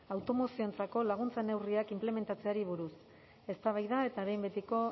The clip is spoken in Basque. autonomoentzako laguntza neurriak inplementatzeari buruz eztabaida eta behin betiko